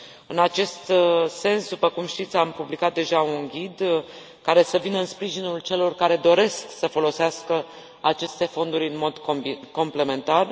În acest sens, după cum știți, am publicat deja un ghid care să vină în sprijinul celor care doresc să folosească aceste fonduri în mod complementar.